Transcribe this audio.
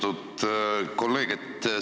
Austatud kolleeg!